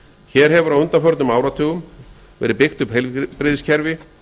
hér hefur á undanförnum áratugum verið byggt upp heilbrigðiskerfi